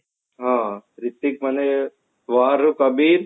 ହଁ ହିର୍ତ୍ଵିକ ନହେଲେ war ରେ କବୀର